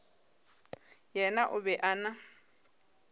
yena o be a na